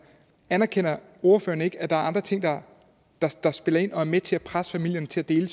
anerkender ordføreren ikke at der er andre ting der spiller ind og er med til at presse familierne til at dele